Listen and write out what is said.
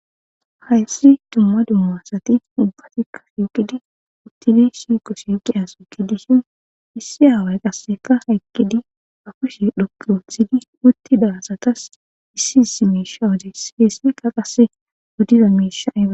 Hayssa dumma dumma asati ubbatikka uttidi shiiqo shiiqiya asati dishin issi aaway qassekka eqqidi ba kushshe dhoqqu ootidi utida asasi issi issi miisha odisees. Hessikka qasse oddda miisha.